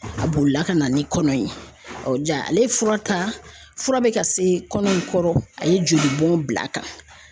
A bolila ka na ni kɔnɔ ye , jaa, ale ye fura ta fura bɛ ka se kɔnɔ in kɔrɔ a ye jolibɔn bila a kan .